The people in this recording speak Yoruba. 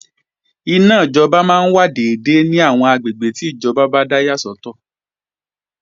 Iná máa wà dédé ní àwọn àgbègbè tí ìjọba yà sọ́tọ̀